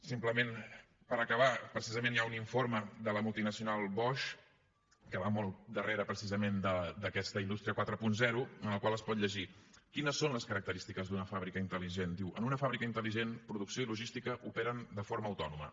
simplement per acabar precisament hi ha un informe de la multinacional bosch que va molt al darrere precisament d’aquesta indústria quaranta en el qual es pot llegir quines són les característiques d’una fàbrica intel·ligent diu en una fàbrica intelligent producció i logística operen de forma autònoma